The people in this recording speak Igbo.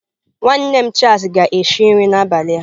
Nwanne m Charles ga-esi nri abalị a.